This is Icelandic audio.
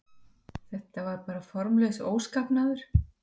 En þetta var bara formlaus óskapnaður.